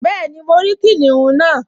Bẹ́ẹ̀ni, mo rí kìnìún náà